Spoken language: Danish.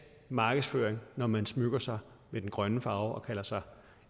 markedsføring når man smykker sig med den grønne farve og kalder sig